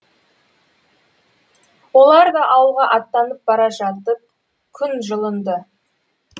олар да ауылға аттанып бара жатып күн жылынды